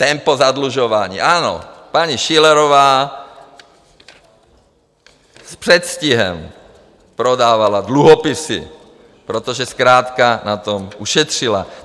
Tempo zadlužování, ano, paní Schillerová s předstihem prodávala dluhopisy, protože zkrátka na tom ušetřila.